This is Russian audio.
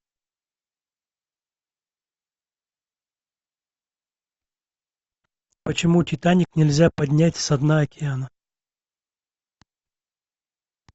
почему титаник нельзя поднять со дна океана